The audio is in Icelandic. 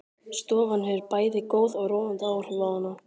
Stofan hefur bæði góð og róandi áhrif á hana.